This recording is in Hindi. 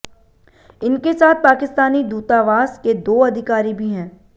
इनके साथ पाकिस्तानी दूतावास के दो अधिकारी भी हैं